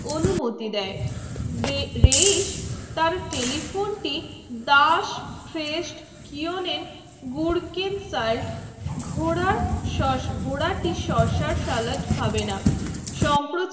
অনুমুতি দায়ে reis তার telephone টি das fest keunen gurkem salt ঘোড়া সস ঘোড়া টি শশা সালাদ খাবে না সোমপুর